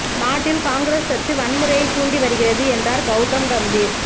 நாட்டில் காங்கிரஸ் கட்சி வன்முறையைத் தூண்டி வருகிறது என்றாா் கௌதம் கம்பீா்